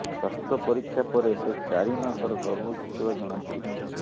ସ୍ୱାସ୍ଥ୍ୟ ପରୀକ୍ଷା ପରେ ସେ ଚାରି ମାସର ଗର୍ଭବତୀ ଥିବା ଜଣାପଡ଼ିଥିଲା